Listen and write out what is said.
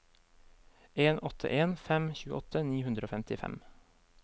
en åtte en fem tjueåtte ni hundre og femtifem